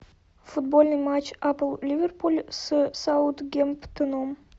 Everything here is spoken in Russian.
футбольный матч апл ливерпуль с саутгемптоном